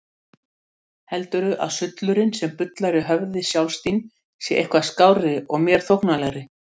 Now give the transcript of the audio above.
Heldurðu að sullurinn sem bullar í höfði sjálfs þín sé eitthvað skárri og mér þóknanlegri?